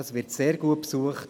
Er wird sehr gut besucht.